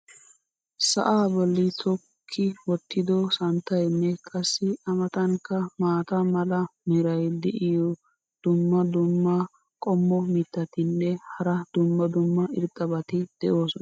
sa"aa boli tokki wottido santtaynne qassi a matankka maata mala meray diyo dumma dumma qommo mitattinne hara dumma dumma irxxabati de'oosona.